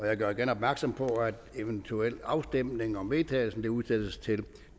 jeg gør igen opmærksom på at eventuel afstemning om vedtagelse udsættes til